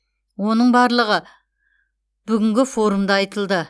оның барлығы бүгінгі форумда айтылды